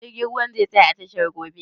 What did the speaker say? Jirgin ruwan zai tsaya a tashar gobe?